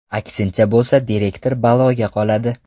Aksincha bo‘lsa direktor baloga qoladi.